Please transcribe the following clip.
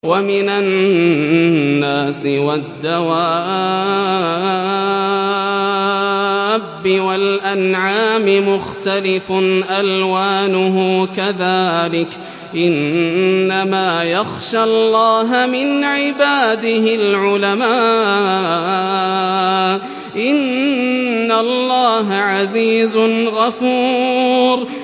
وَمِنَ النَّاسِ وَالدَّوَابِّ وَالْأَنْعَامِ مُخْتَلِفٌ أَلْوَانُهُ كَذَٰلِكَ ۗ إِنَّمَا يَخْشَى اللَّهَ مِنْ عِبَادِهِ الْعُلَمَاءُ ۗ إِنَّ اللَّهَ عَزِيزٌ غَفُورٌ